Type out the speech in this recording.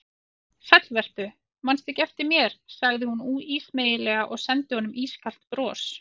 Sæll vertu, mannstu ekki eftir mér sagði hún ísmeygilega og sendi honum ískalt bros.